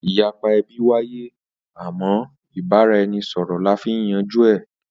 Ìyapa ẹbí wáyé àmọ́ ìbára-ẹni-sọ̀rọ̀ la fi ń yanjú ẹ